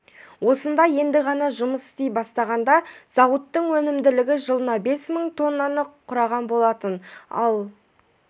осында енді ғана жұмыс істей бастағанда зауыттың өнімділігі жылына бес мың тоннаны құраған болатын ал